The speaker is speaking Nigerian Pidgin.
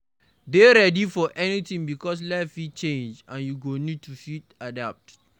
Dey ready for anything because life fit change and you go need to fit adapt